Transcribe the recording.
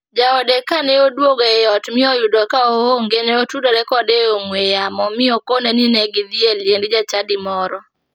Jaode kane oduogo e ot mi oyudo ka oonge ne otudore kode e ong'ue yamo mi okone ni ne gidhi e liend jachadi moro.